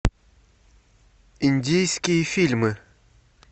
индийские фильмы